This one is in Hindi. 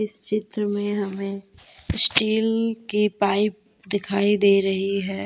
इस चित्र में हमें स्टील की पाइप दिखाई दे रही है।